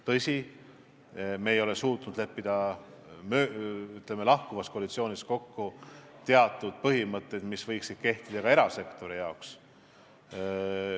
Tõsi, me ei ole suutnud lahkuvas koalitsioonis kokku leppida teatud põhimõtteid, mis võiksid kehtida ka erasektoris.